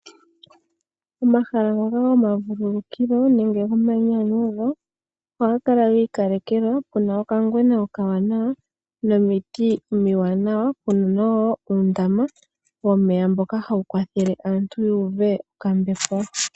Omahala ngoka goma vululukilo nenge goma yinyanyudho ohaga kala giikalekelwa. Puna okangwena okawanawa nomiti omiwanawa , puna wo uundama womeya mboka hawu kwathele aantu ya uve okambepo.